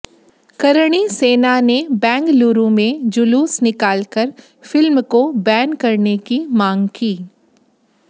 करणी सेना ने बेंगलुरु में जुलूस निकालकर फिल्म को बैन करने की मांग की